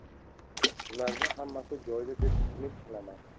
Ularda hammasi joyida deb umid qilaman.